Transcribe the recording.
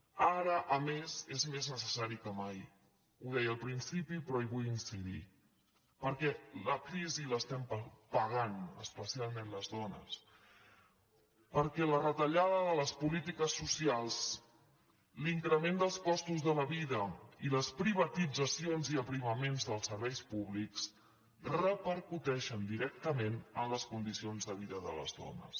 ara a més és més necessari que mai ho deia al prin·cipi però hi vull incidir perquè la crisi l’estem pa·gant especialment les dones perquè la retallada de les polítiques socials l’increment dels costos de la vida i les privatitzacions i aprimaments dels serveis públics repercuteixen directament en les condicions de vida de les dones